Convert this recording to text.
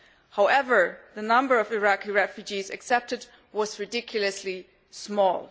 However, the number of Iraqi refugees accepted was ridiculously small.